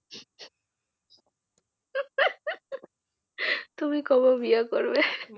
তুমি কবে বিয়ে করবে।